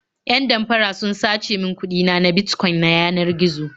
Yan damfara sun sace min kuɗi na na Bitcoin ta yanar gizo.